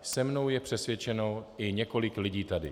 Se mnou je přesvědčeno i několik lidí tady.